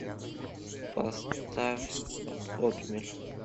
поставь отмель